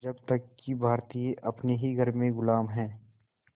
जब तक भारतीय अपने ही घर में ग़ुलाम हैं